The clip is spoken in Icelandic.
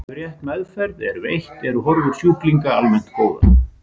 Ef rétt meðferð er veitt eru horfur sjúklinga almennt góðar.